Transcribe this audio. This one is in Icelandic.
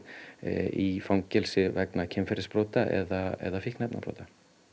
í fangelsi vegna kynferðisbrota eða fíkniefnabrota